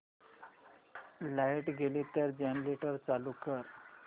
light गेली तर generator चालू कर